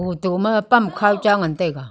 hotok ma pam khaw cha ngantaiga.